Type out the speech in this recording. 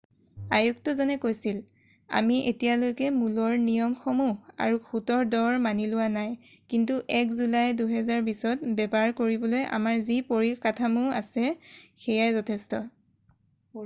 "আয়ুক্তজনে কৈছিল "আমি এতিয়ালৈকে মূলৰ নিয়মসমূহ আৰু সূতৰ দৰ মানি লোৱা নাই কিন্তু 1 জুলাই 2020ত বেপাৰ কৰিবলৈ আমাৰ যি পৰিকাঠামো আছে সেয়াই যথেষ্ট।""